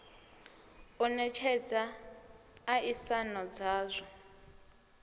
u netshedza a isano dzazwo